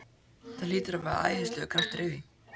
Það hlýtur að vera æðislegur kraftur í því!